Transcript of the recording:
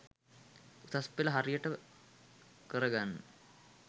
උසස්පෙළ හරියට කරගන්න